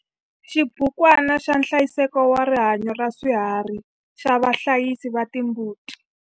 Xibukwana xa nhlayiseko wa rihanyo ra swiharhi xa vahlayisi va timbuti.